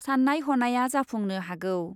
सान्नाय हनाया जाफुंनो हागौ ।